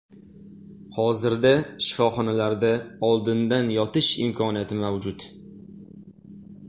Hozirda shifoxonalarda oldindan yotish imkoniyati mavjud.